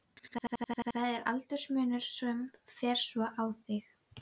Er það aldursmunurinn sem fer svona í þig?